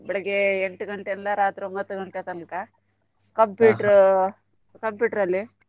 ಬೆಳಿಗ್ಗೆ ಎಂಟ್ ಗಂಟೆ ಇಂದ ರಾತ್ರಿ ಒಂಬತ್ತ್ ಗಂಟೆ ತನ್ಕ computer ಅಲ್ಲಿ.